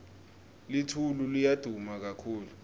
litulu liya duma kakhulu